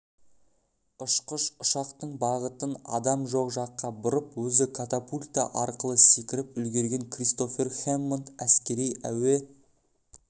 ұшқыш ұшақтың бағытын адам жоқ жаққа бұрып өзі катапульта арқылы секіріп үлгерген кристофер хэммонд әскери әуе